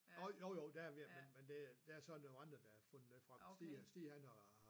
Åh jo jo der er jeg ved men det er der er så nogen andre der har fundet noget frem Stig er Stig han har